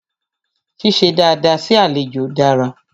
Ṣíṣe dada sí àlejò dára.